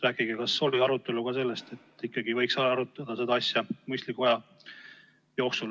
Rääkige sellest, kas oli arutelu ka selle üle, et äkki ikkagi võiks seda asja arutada mõistliku aja jooksul.